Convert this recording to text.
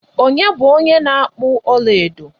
Onye bu onye na akpu ọlaedo?